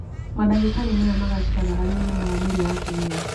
Mandagĩtarĩ maya magacĩraga harĩ ũgima wa mwĩrĩ wa atumia